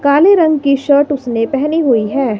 काले रंग की शर्ट उसने पेहनी हुई है।